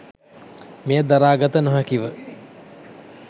මෙය දරා ගත නොහැකිව